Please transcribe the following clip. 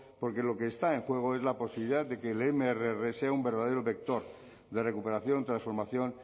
porque lo que está en juego es la posibilidad de que mrs sea un verdadero vector de recuperación transformación